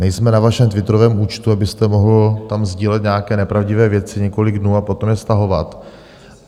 Nejsme na vašem twitterovém účtu, abyste tam mohl sdílet nějaké nepravdivé věci několik dnů a potom je stahovat.